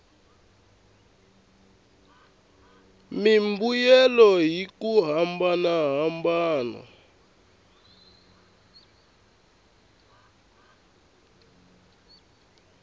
mimbuyelo hi ku hambana ka